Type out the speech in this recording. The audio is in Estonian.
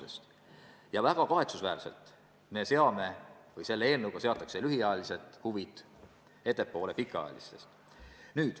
Veel on väga kahetsusväärne, et selle eelnõu kohaselt seatakse lühiajalised huvid ettepoole pikaajalistest.